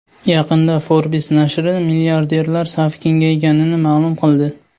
Yaqinda Forbes nashri milliarderlar safi kengayganini ma’lum qildi.